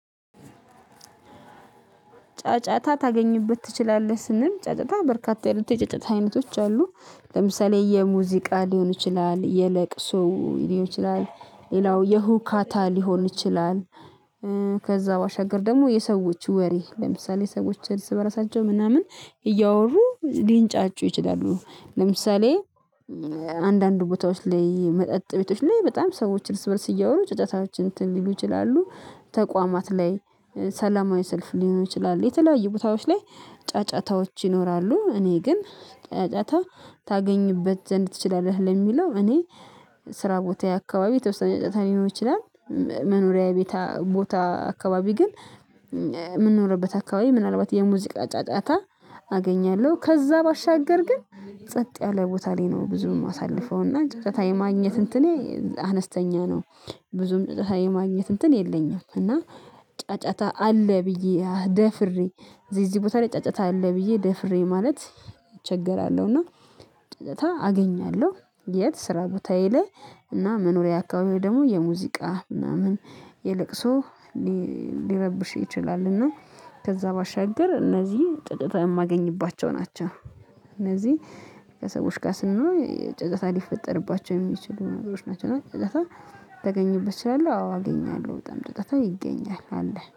ጫጫታ ታገኙበት ትችላለህ ስንል ጫጫታ በርካታ አይነት የጫጫታ አይነቶች አሉ። ለምሳሌ የሙዚቃ ሊሆን ይችላል የለቅሶ ሊሆን ይችላል ሌላው የሁካታ ሊሆን ይችላል። ከዚያ ባሻገር ደግሞ የሰዎች ወሬ ለምሳሌ የሰዎች እርስ በራሳቸው ምናምን እያወሩ ሊንጫጩ ይችላሉ። ለምሳሌ አንዳንድ ቦታዎች ላይ መጠጥ ቤቶች ላይ በጣም ሰዎችን እርስ በእርስ እያወሩ ጨጨታዎች እንትን ሊሉ ይችላሉ። ተቋማት ላይ ሰላማዊ ሰልፍ ሊሆን ይችላል የተለያዩ ቦታዎች ላይ ጫጫታዎች ይኖራሉ። እኔ ግን ጫጫታ ታገኝበት ዘንድ ትችላለህ ለሚለው እኔ ስራ ቦታ አካባቢ የተወሰነ ጫጫታ ሊኖር ይችላል። መኖሪያ ቤት ቦታ አካባቢ ግን የምንኖርበት አካባቢ ምናልባት የሙዚቃ ጫጫታ አገኛለሁ ከዚያ ባሻገር ግን ጸጥ ያለ ቦታ ላይ ነው። ብዙም የማሳልፈው እና ጫጫታ የማግኘት እንትኔ አነስተኛ ነው። ብዙም ጫጫታ የማግኘት እንትን የለኝም። እና ጫጫታ አለ ብዬ ደፍሬ እዚህ እዚህ ቦታ ላይ ጫጫታ አለ ብዬ ደፍሬ ማለት እቸገራለሁ። እና ጫጫታ አገኛለሁ የት ስራ ቦታዬ ላይ እና መኖሪያ አካባቢው ደግሞ የሙዚቃ ምናምን የለቅሶ ሊረብሽ ይችላል። እና ከዚያ ባሻገር እነዚህ ጫጫታ የማገኝባቸው ናቸው። እነዚህ ከሰዎች ጋር ስንሆን ጫጫታ ሊፈጠርባቸው የሚችሉ ነገሮች ናቸው። እና ጫጫታ ተገኝበት ትችላለህ አዎ አገኛለሁ በጣም ጫጫታ ይገኛል አለ